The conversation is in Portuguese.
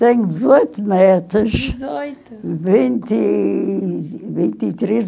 Tenho dezoito netos. Dezoito? Vinte... vinte e três